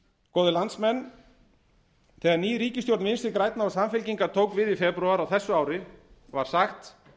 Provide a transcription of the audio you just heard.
góðir landsmenn þegar ný ríkisstjórn vinstri grænna og samfylkingar tók við í febrúar á þessu ári var sagt